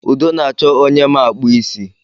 Udo na-achọ onye ma akpụ isi